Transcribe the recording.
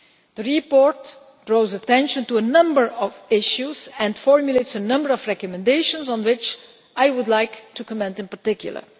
The report draws attention to a number of issues and formulates a number of recommendations on which I would like to comment in particular.